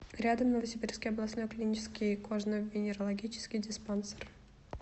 рядом новосибирский областной клинический кожно венерологический диспансер